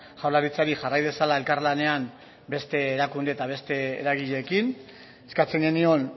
jaurlaritzari jarrai dezala elkarlanean beste erakunde eta beste eragileekin eskatzen genion